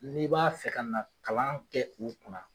N'i b'a fɛ ka na kalan kɛ u kunna